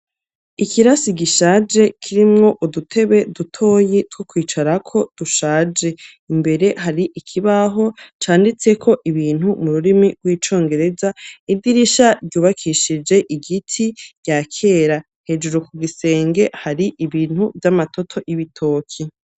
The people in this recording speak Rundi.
Ikirasi gishaje kirimwo udutebe dutoyi two kwicarako dushaje. Imbere hari ikibaho canditseko ibintu mu rurimi rw'icongereza. Idirisha ryubakishije igiti rya kera, hejuru ku gisenge hari ibintu vy'amatoto y'ibitoki.